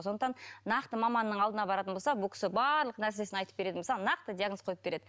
сондықтан нақты маманның алдына баратын болса бұл кісі барлық нәрсесін айтып беретін болса нақты диагноз қойып береді